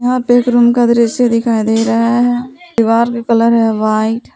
यहां पे एक रूम का दृश्य दिखाई दे रहा है दीवार का कलर है व्हाइट ।